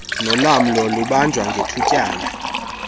nolamlo lubanjwa ngethutyana